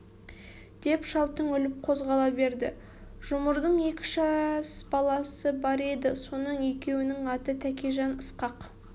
деп шал түңіліп қозғала берді жұмырдың екі жас баласы бар еді соның екеуінің аты тәкежан ысқақ